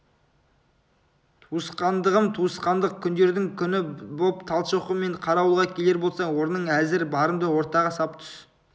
туысқандығым туысқандық күндердің күні боп талшоқы мен қарауылға келер болсаң орның әзір барымды ортаға сап түс